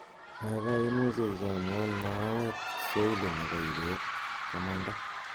gaigai imuche ichomwon mahawet swahili nepo ibeet komanda